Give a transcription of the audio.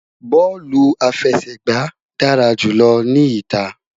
Bọọlu afẹsẹgba dara julọ ni ita